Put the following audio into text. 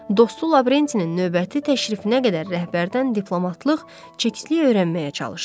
Dostu Lavrentinin növbəti təşrifinə qədər rəhbərdən diplomatlıq, çikistlik öyrənməyə çalışdı.